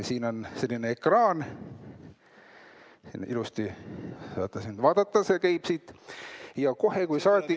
Siin on selline ekraan, et saaks vaadata, see käib siit, ja kohe kui saadik ...